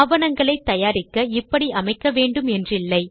ஆவணங்களை தயாரிக்க இப்படி அமைக்க வேண்டும் என்றில்லை